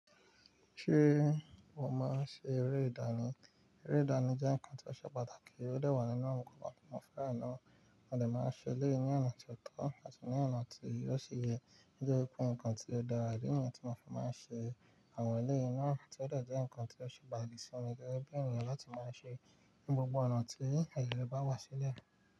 Ṣé wà máa ń ṣe eré ìdánì? Eré ìdánì jẹ́ ǹkan ti ó ṣe pàtàkì, ó de wà nínú àwọn nǹkan tí wọ́n fẹ́ràn náà. Wọ́n dẹ̀ máa ń ṣe eléyìí ní ọ̀nà tó tọ́ àti ní ọ̀nà tí óò ṣi yẹ, gẹ́gẹ́ bí i ohunkóhun kan tí ó dàra idi niyen tí mo fi máa ń ṣe. Àwọn eléyìí náà ti ó dẹ̀ jẹ́ ǹkan ti o ṣe bà n ìsinmi gẹ́gẹ́ bí ènìyàn lati máa ṣe ní gbogbo ọ̀nà tí ẹ̀yan bá wá sílẹ̀.